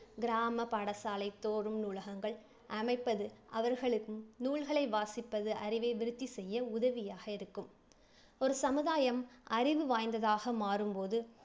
கிராம பாடசாலை தோறும் நூலகங்கள் அமைப்பது அவர்களுக்கு நூல்களை வாசிப்பது அறிவை விருத்தி செய்ய உதவியாக இருக்கும். ஒரு சமுதாயம் அறிவு வாய்ந்ததாக மாறும் போது